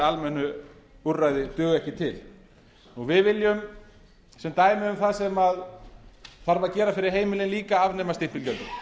almennu úrræði duga ekki til við viljum sem dæmi um það sem þarf að gera fyrir heimilin líka afnema stimpilgjöld